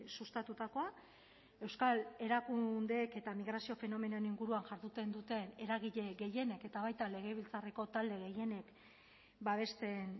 sustatutakoa euskal erakundeek eta migrazio fenomenoen inguruan jarduten duten eragile gehienek eta baita legebiltzarreko talde gehienek babesten